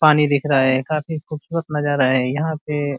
पानी दिख रहा है। काफी खूबसूरत नजरा है यहां पे ।